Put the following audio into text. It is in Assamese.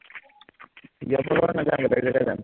বিয়া খাবলে নাযাও বেলেগ জাগাত যাম